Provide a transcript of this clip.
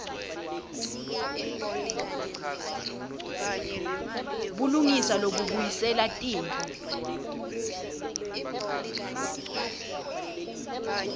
bulungisa lobubuyisela tintfo